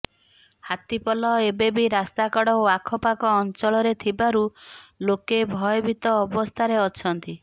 ହାତୀ ପଲ ଏବେ ବି ରାସ୍ତାକଡ଼ ଓ ଆଖପାଖ ଅଞ୍ଚଳରେ ଥିବାରୁ ଲୋକେ ଭୟଭୀତ ଅବସ୍ଥାରେ ଅଛନ୍ତି